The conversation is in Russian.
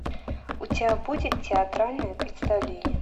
у тебя будет театральное представление